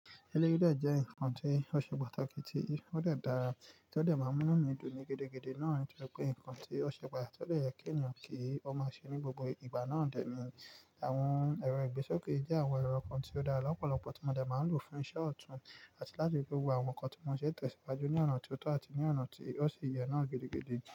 Eleyii dé jẹ́ nǹkan tí ó ṣe pàtàkì tí ó de dárà, tí ó dè máa n mú inu mi dùn ni gidi gidi náà nitori pé nǹkan tí ó ṣe pàtàkì tó lè yẹ́ kí ènìyàn kí ó máa ṣe ní gbogbo ìgbà náà dẹ́ni. Àwọn ẹ̀rọ ìgbésókè jẹ́ àwọn ẹ̀rọ kan tí ó dára lọ́pọ̀lọpọ̀ tí mo de máa lò fún iṣẹ́ ọ̀tún àti láti fi ri pe gbógbo àwọn nǹkan tí mo n ṣe ni itẹ̀síwájú ní ọ̀nà tó tọ́ àti ní ọ̀nà tí ó ṣe yẹ náà gidi gidi.